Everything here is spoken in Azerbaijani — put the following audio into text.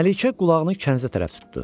Məlikə qulağını kənzə tərəf tutdu.